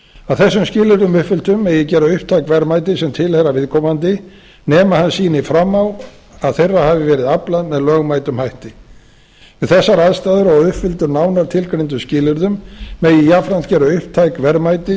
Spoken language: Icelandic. að þessum skilyrðum uppfylltum eigi að gera upptæk verðmæti sem tilheyra viðkomandi nema hann sýni fram á að þeirra hafi verið aflað með lögmætum hætti við þessar aðstæður og að uppfylltum nánar tilgreindum skilyrðum megi jafnframt gera upptæk verðmæti